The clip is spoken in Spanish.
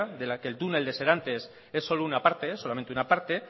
de la que el túnel de serantes es solo una parte solamente una parte